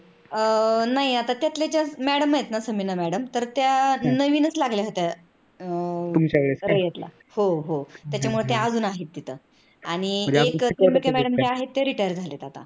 अह नाही त्यातल्या त्यात madam आहत ना समीना madam तर त्या नवीनच लागल्या होत्या. त्याच्य्मुळे त्या अजून आहेत तिथे त्या आणि त्रन्यांबके madam आहेत त्या retire झालेल्या आहेत.